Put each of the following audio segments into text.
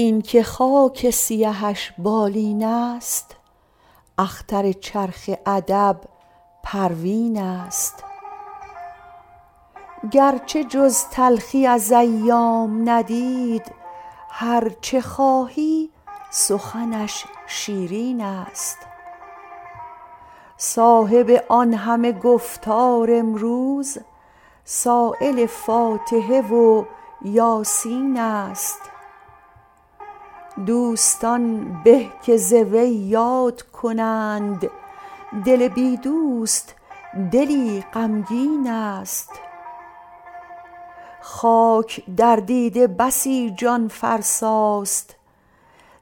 اینکه خاک سیهش بالین است اختر چرخ ادب پروین است گرچه جز تلخی از ایام ندید هر چه خواهی سخنش شیرین است صاحب آن همه گفتار امروز سایل فاتحه و یاسین است دوستان به که ز وی یاد کنند دل بی دوست دلی غمگین است خاک در دیده بسی جان فرسا ست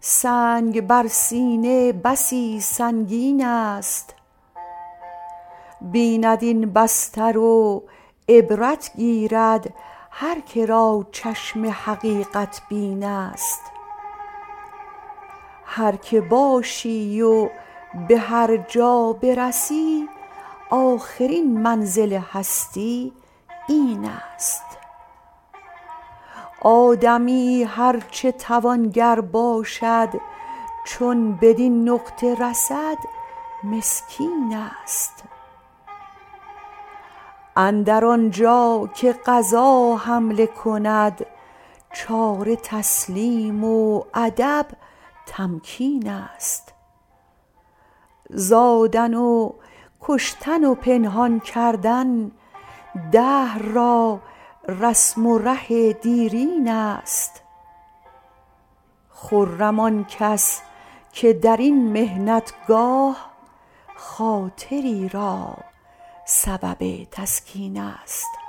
سنگ بر سینه بسی سنگین است بیند این بستر و عبرت گیرد هر که را چشم حقیقت بین است هر که باشی و به هر جا برسی آخرین منزل هستی این است آدمی هر چه توانگر باشد چو بدین نقطه رسد مسکین است اندر آنجا که قضا حمله کند چاره تسلیم و ادب تمکین است زادن و کشتن و پنهان کردن دهر را رسم و ره دیرین است خرم آن کس که در این محنت گاه خاطری را سبب تسکین است